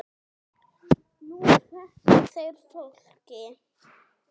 Nú fækki þeir fólki.